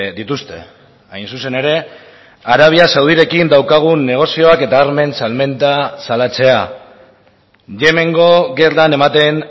dituzte hain zuzen ere arabia saudirekin daukagun negozioak eta armen salmenta salatzea yemengo gerran ematen